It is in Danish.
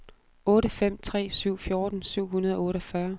otte fem tre syv fjorten syv hundrede og otteogfyrre